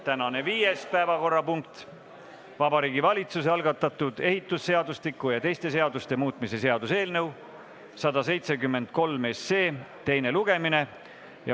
Tänane viies päevakorrapunkt on Vabariigi Valitsuse algatatud ehitusseadustiku ja teiste seaduste muutmise seaduse eelnõu 173 teine lugemine.